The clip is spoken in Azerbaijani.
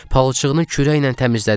Palçığını kürəklə təmizlədim.